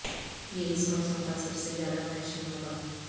یہ اس موسم کا سب سے زیادہ فیشن ہوگا